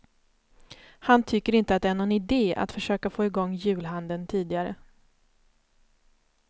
Han tycker inte det är någon ide att försöka få i gång julhandeln tidigare.